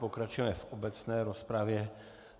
Pokračujeme v obecné rozpravě.